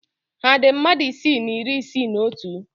Ha dị mmadụ narị isii na iri isii na otu?